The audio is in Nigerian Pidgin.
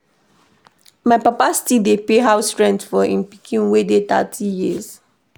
My papa still dey pay house rent for im pikin wey dey thirty years.